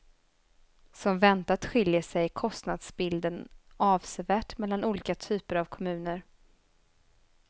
Som väntat skiljer sig kostnadsbilden avsevärt mellan olika typer av kommuner.